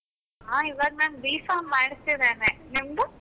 ಹಾ ಇವಾಗ ನಾನು B.com ಮಾಡ್ತಿದ್ದೇನೆ, ನಿಮ್ದು?